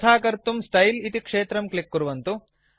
तथा कर्तुं स्टाइल इति क्षेत्रं क्लिक् कुर्वन्तु